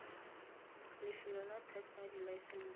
lefelo la teko ya dilaesense